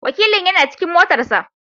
Wakilin yana cikin motar sa.